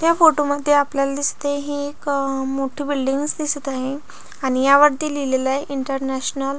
त्या फोटो मध्ये आपल्याला दिसते ही एक मोठी बिल्डिंग दिसत आहे आणि वरती लिहिलेलं आहे इंटरनॅशनल --